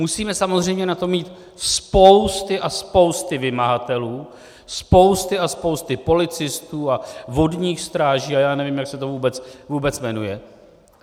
Musíme samozřejmě na to mít spousty a spousty vymahatelů, spousty a spousty policistů a vodních stráží a já nevím, jak se to vůbec jmenuje.